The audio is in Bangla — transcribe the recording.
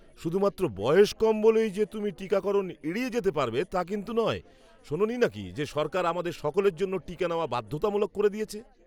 শুধুমাত্র বয়স কম বলেই যে তুমি টিকাকরণ এড়িয়ে যেতে পারবে তা কিন্তু নয়। শোনোনি নাকি যে সরকার আমাদের সকলের জন্য টীকা নেওয়া বাধ্যতামূলক করে দিয়েছে?